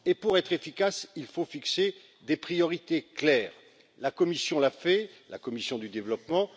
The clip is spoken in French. Pour être efficace, il faut fixer des priorités claires. C'est ce qu'a fait la commission du développement.